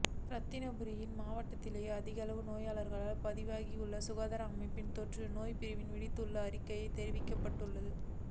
இரத்தினபுரி மாவட்டத்திலேயே அதிகளவான நோயாளர்கள் பதிவாகியுள்ளதாக சுகாதார அமைச்சின் தொற்று நோய்ப் பிரிவு விடுத்துள்ள அறிக்கையில் தெரிவிக்கப்பட்டுள்ளது